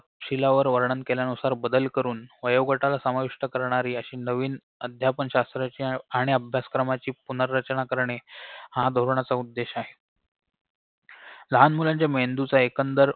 शिलावार वर्णन केल्यानुसार बदल करून वयोगटाला सामाविष्ट करणारी अशी नवीन अध्यापन शास्त्राची आणि अभ्यासक्रमाची पुनःरचना करणे हा धोरणाचा उद्देश आहे लहान मुलांच्या मेंदूचा एकंदर